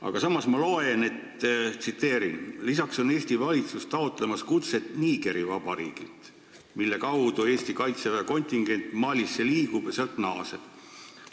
Aga samas ma loen: "Lisaks on Eesti taotlemas kutset Nigeri Vabariigilt, mille kaudu Eesti kaitseväe kontingent Malisse liigub ja sealt naaseb.